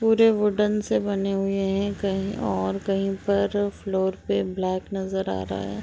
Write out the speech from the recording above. पुरे वुडेन से बने हुए है कहीं और कहीं पे फ्लोर पे ब्लैक नज़र आ रहा हैं।